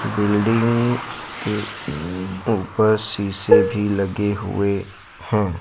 Building के ऊपर शीशे भी लगे हुए हैं।